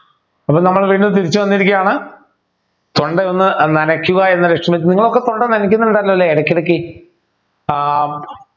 അപ്പൊ നമ്മൾ തിരിച്ചു വന്നിരിക്കയാണ് തൊണ്ടയൊന്നു നനയ്ക്കുക എന്ന ലക്ഷ്യ നിങ്ങളൊക്കെ തൊണ്ട നനയ്ക്കുന്നുണ്ടല്ലോ അല്ലെ ഇടക്കിടക്ക് ആഹ്